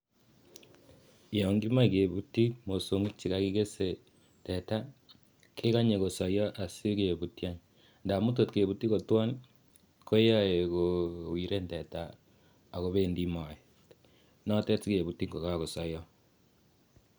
Yon kimochei kebutchi mosong'ik chikakikesei teta kekonyei kosoiyo asikeputchi amu tot keputchin koyoe kowiren teta akobendi moet.